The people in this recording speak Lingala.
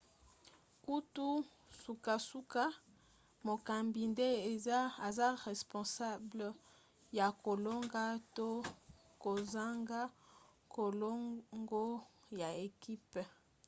kutu sukasuka mokambi nde aza responsable ya kolongo to kozanga kolongo ya ekipe